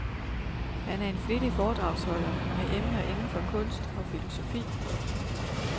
Han er en flittig foredragsholder med emner inden for kunst og filosofi.